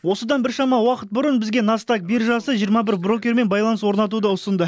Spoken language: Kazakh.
осыдан біршама уақыт бұрын бізге настаг биржасы жиырма бір брокермен байланыс орнатуды ұсынды